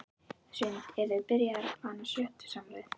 Hrund: Eruð þið byrjaðar að plana sjötugsafmælið?